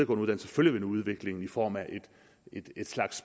uddannelser følger vi nu udviklingen i form af et slags